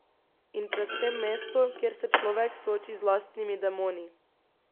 In predvsem mesto, kjer se človek sooči z lastnimi demoni.